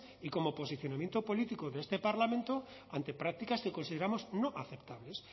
y como posicionamiento político de este parlamento ante prácticas que consideramos no aceptables